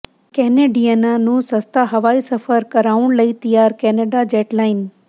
ਕੈਨੇਡੀਅਨਾਂ ਨੂੰ ਸਸਤਾ ਹਵਾਈ ਸਫ਼ਰ ਕਰਵਾਉਣ ਲਈ ਤਿਆਰ ਕੈਨੇਡਾ ਜੈਟਲਾਈਨ